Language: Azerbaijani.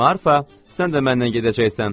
Marfa, sən də mənlə gedəcəksən?